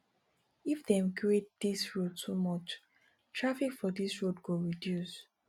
if dem grade dis road too much traffic for dis road go reduce